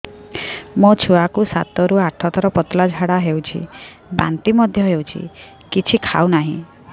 ମୋ ଛୁଆ କୁ ସାତ ରୁ ଆଠ ଥର ପତଳା ଝାଡା ହେଉଛି ବାନ୍ତି ମଧ୍ୟ୍ୟ ହେଉଛି କିଛି ଖାଉ ନାହିଁ